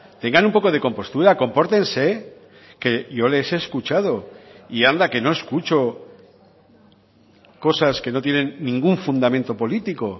tengan un poco de compostura compórtense que yo les he escuchado y anda que no escucho cosas que no tienen ningún fundamento político